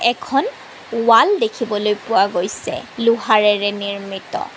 এখন ৱাল দেখিবলৈ পোৱা গৈছে লোহাৰেৰে নিৰ্মিত।